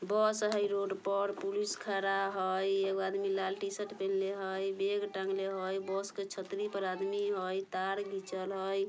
बस हई रोड पर पुलिस खरा हई एगो आदमी लाल टी-शर्ट पहिनले हई बैग टँगले हई बस के छतरी पर आदमी हई तार खीचल हई।